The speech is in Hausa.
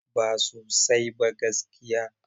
Ba sosai ba gaskiya.